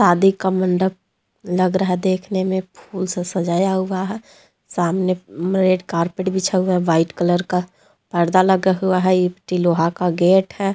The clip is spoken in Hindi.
शादी का मंडप लग रहा है देखने में फूल से सजाया हुआ है सामने रेड कारपेट बिछा हुआ है व्हाइट कलर का पर्दा लगा हुआ है लोहा का गेट है।